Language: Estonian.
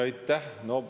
Aitäh!